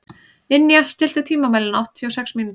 Ninja, stilltu tímamælinn á áttatíu og sex mínútur.